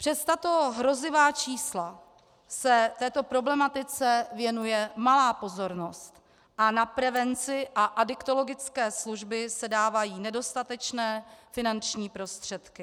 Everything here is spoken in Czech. Přes tato hrozivá čísla se této problematice věnuje malá pozornost a na prevenci a adiktologické služby se dávají nedostatečné finanční prostředky.